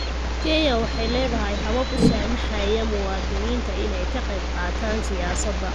Kenya waxay leedahay habab u saamaxaya muwaadiniinta inay ka qayb qaataan siyaasadda.